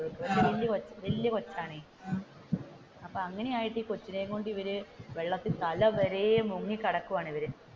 വലിയ കൊച്ചാണ് അപ്പോ അങ്ങനെയായിട്ട് കൊച്ചിനേം കൊണ്ട് ഇവർ വെള്ളത്തിൽ തല വരെയും മുങ്ങി കിടക്കുവാണ്, ഇവർ